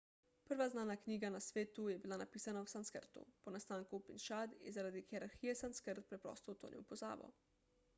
prva znana knjiga na svetu je bila napisana v sanskrtu po nastanku upinšad je zaradi hierarhije sanskrt preprosto utonil v pozabo